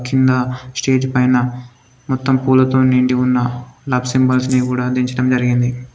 కింద స్టేజ్ పైన మొత్తం పూలతో నిండి ఉన్న లవ్ సింబల్స్ ని కూడా దించడం జరిగింది.